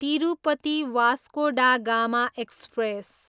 Tirupati, Vasco da Gama express